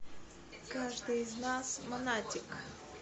каждый из нас монатик